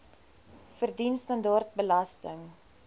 verdien standaard belasting